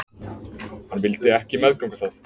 Hann vildi ekki meðganga það.